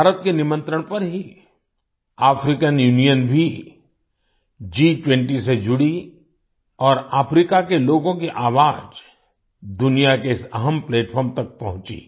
भारत के निमंत्रण पर ही अफ्रीकान यूनियन भी G20 से जुड़ी और अफ्रीका के लोगों की आवाज दुनिया के इस अहम प्लेटफार्म platformतक पहुंची